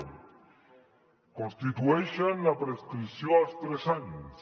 en constitueixen la prescripció als tres anys